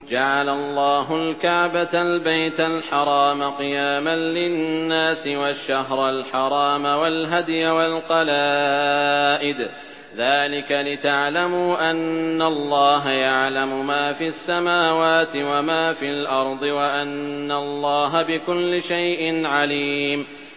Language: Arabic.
۞ جَعَلَ اللَّهُ الْكَعْبَةَ الْبَيْتَ الْحَرَامَ قِيَامًا لِّلنَّاسِ وَالشَّهْرَ الْحَرَامَ وَالْهَدْيَ وَالْقَلَائِدَ ۚ ذَٰلِكَ لِتَعْلَمُوا أَنَّ اللَّهَ يَعْلَمُ مَا فِي السَّمَاوَاتِ وَمَا فِي الْأَرْضِ وَأَنَّ اللَّهَ بِكُلِّ شَيْءٍ عَلِيمٌ